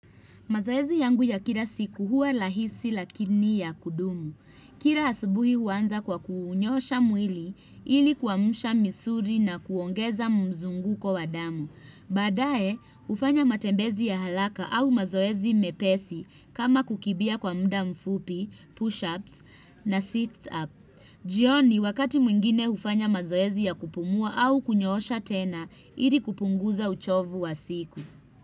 Mazoezi yangu ya kira siku huwa lahisi lakini ya kudumu. Kira asubuhi huanza kwa kuunyoosha mwili ili kuamsha misuri na kuongeza mzunguko wa damu. Badae ufanya matembezi ya halaka au mazoezi mepesi kama kukibia kwa mda mfupi, push-ups na sit-up. Jioni wakati mwingine ufanya mazoezi ya kupumua au kunyosha tena ili kupunguza uchovu wa siku.